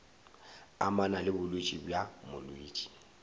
amana le bolwetši bja molwetši